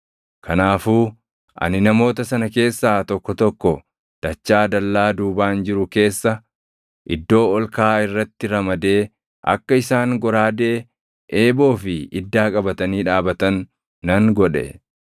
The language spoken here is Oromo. Kanaafuu ani namoota sana keessaa tokko tokko dachaa dallaa duubaan jiru keessa, iddoo ol kaʼaa irratti ramadee akka isaan goraadee, eeboo fi iddaa qabatanii dhaabatan nan godhe.